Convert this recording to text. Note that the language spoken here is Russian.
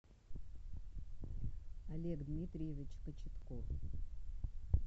олег дмитриевич кочетков